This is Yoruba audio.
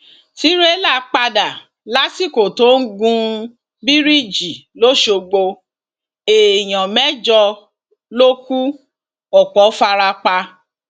tìrẹlà padà lásìkò tó ń gun bíríìjì lọsọgbọ èèyàn mẹjọ ló kù ọpọ fara pa